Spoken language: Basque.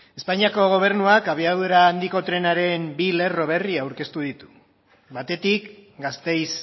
espainiako gobernuak abiadura handiko trenaren bi lerro berri aurkeztu ditu batetik gasteiz